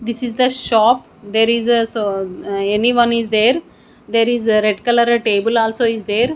this is the shop there is a so anyone is there there is red colour table also is there--